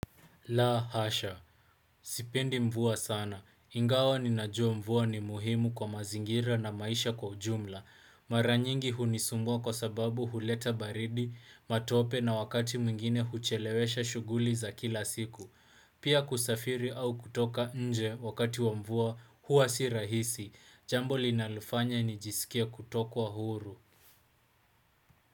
La hasha. Sipendi mvua sana. Ingawa ninajua mvua ni muhimu kwa mazingira na maisha kwa ujumla. Maranyingi hunisumbua kwa sababu huleta baridi, matope na wakati mwingine huchelewesha shughuli za kila siku. Pia kusafiri au kutoka nje wakati wa mvua hua si rahisi. Jambo linalofanya nijiskia kutokwa huru.